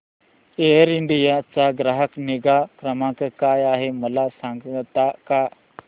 air India चा ग्राहक निगा क्रमांक काय आहे मला सांगता का